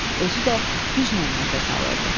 Özü də güclə nəfəs alırdı.